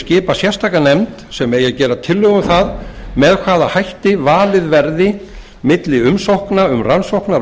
skipa sérstaka nefnd sem eigi að gera tillögu um það með hvaða hætti valið verði milli umsókna um rannsóknar og